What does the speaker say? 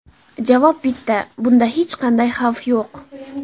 Javob bitta – bunda hech qanday xavf yo‘q.